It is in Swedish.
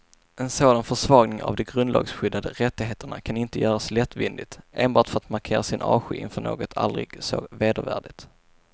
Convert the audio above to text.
En sådan försvagning av de grundlagsskyddade rättigheterna kan inte göras lättvindigt, enbart för att markera sin avsky inför något aldrig så vedervärdigt.